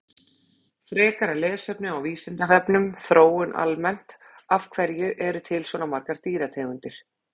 Frekara lesefni á Vísindavefnum Þróun almennt Af hverju eru til svona margar dýrategundir?